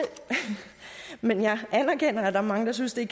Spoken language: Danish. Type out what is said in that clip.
men jeg anerkender at der er mange der synes det